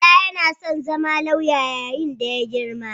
Bala yana son zama lauya yayin da ya girma.